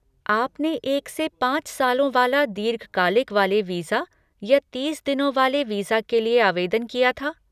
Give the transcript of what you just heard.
आपने एक से पाँच सालों वाला दीर्घकालिक वाले वीज़ा या तीस दिनों वाले वीज़ा के लिए आवेदन किया था?